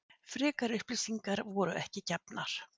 Frekari upplýsingar voru ekki gefnar